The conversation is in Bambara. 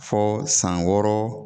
Fo san wɔɔrɔ.